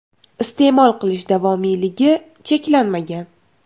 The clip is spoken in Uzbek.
Iste’mol qilish davomiyligi cheklanmagan.